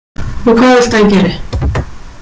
Og hvað viltu að ég geri?